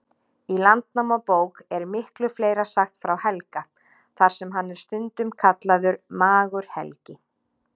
Í Landnámabók er miklu fleira sagt frá Helga, þar sem hann er stundum kallaður Magur-Helgi.